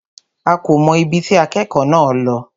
A kò mọ̀ ibi tí akẹ́kọ̀ọ́ náà lọ.